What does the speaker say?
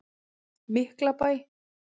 Miklabæ